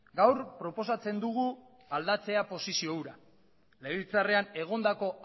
gaur proposatzen dugu aldatzea posizio hura legebiltzarrean egondako